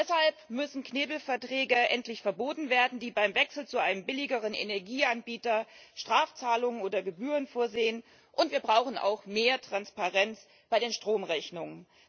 Deshalb müssen Knebelverträge endlich verboten werden, die beim Wechsel zu einem billigeren Energieanbieter Strafzahlungen oder Gebühren vorsehen, und wir brauchen auch mehr Transparenz bei den Stromrechnungen.